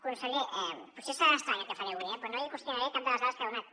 conseller potser serà estrany el que faré avui eh però no li qüestionaré cap de les dades que ha donat